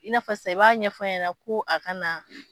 I'na fɔ sisan i b'a ɲɛfa ɲɛna ko a ka na.